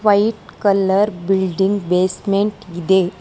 White colour building basement ಇದೆ.